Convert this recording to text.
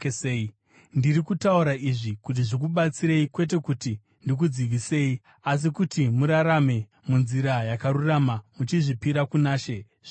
Ndiri kutaura izvi kuti zvikubatsirei, kwete kuti ndikudzivisei, asi kuti murarame munzira yakarurama muchizvipira kuna She zvizere.